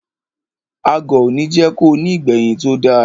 Agọ̀ òní jẹ́ ko ní ìgbẹ̀yìn tó da.